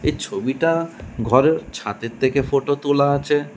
এ ছবিটা ঘরের ছাদের থেকে ফোটো তোলা আছে।